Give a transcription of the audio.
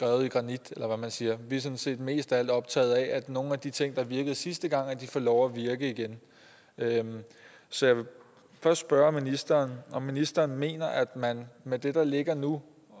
hugget i granit eller hvad man siger vi er sådan set mest af alt optaget af at nogle af de ting der virkede sidste gang får lov at virke igen så jeg vil først spørge ministeren om ministeren mener at man med det der ligger nu